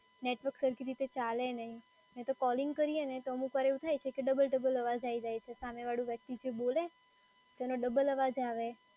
Network સરખી રીતે ચાલે નહીં, નહીં તો કોલિંગ કરીએ ને તો અમુકવાર એવું થાય કે ડબલ ડબલ અવાજ આઈ જાય છે સામે વાળી વ્યક્તિ જે બોલે તેનો ડબલ અવાજ આવે.